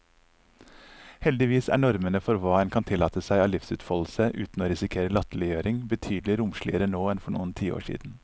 Heldigvis er normene for hva en kan tillate seg av livsutfoldelse uten å risikere latterliggjøring, betydelig romsligere nå enn for noen tiår siden.